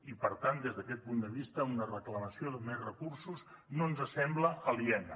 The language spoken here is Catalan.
i per tant des d’aquest punt de vista una reclamació de més recursos no ens sembla aliena